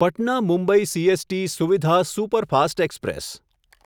Patna Mumbai CST Suvidha superfast express